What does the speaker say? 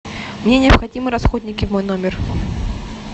мне необходимы расходники в мой номер